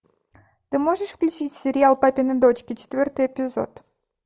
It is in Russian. ты можешь включить сериал папины дочки четвертый эпизод